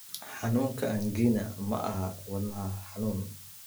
Xanuunka angina ma aha wadna xanuun.